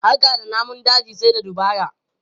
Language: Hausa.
Harka da namun daji sai da dabara.